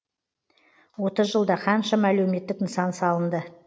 отыз жылда қаншама әлеуметтік нысан салынды